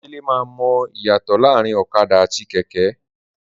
Dele ma mọ iyatọ laarin ọ̀kadà àti kẹkẹ.